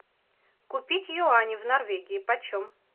купить юани в норвегии по чем